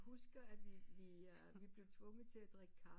Husker at vi blev tvunget til at drikke kaffe